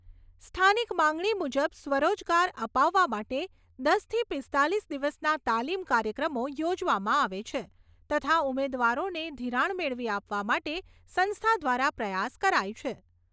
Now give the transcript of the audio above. સ્થાનિક માગણી મુજબ સ્વરોજગાર અપાવવા માટે દસથી પીસ્તાલીસ દિવસના તાલીમ કાર્યક્રમો યોજવામાં આવે છે તથા ઉમેદવારોને ધિરાણ મેળવી આપવા માટે સંસ્થા દ્વારા પ્રયાસ કરાય છે.